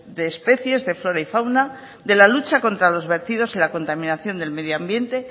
de especies de flora y fauna de la lucha contra los vertidos y la contaminación del medio ambiente